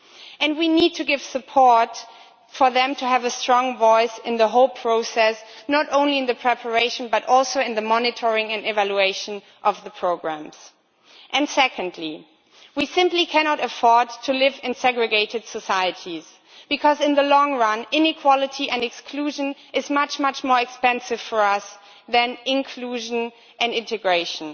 And we need to give support for them to have a strong voice in the whole process not only in the preparation, but also in the monitoring and evaluation, of the programmes. Secondly, we simply cannot afford to live in segregated societies, because in the long run, inequality and exclusion is much more expensive for us than inclusion and integration.